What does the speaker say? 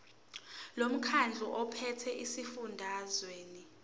lomkhandlu ophethe esifundazweni